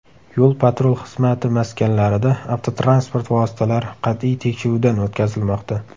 Yo‘l-patrul xizmati maskanlarida avtotransport vositalari qat’iy tekshiruvdan o‘tkazilmoqda.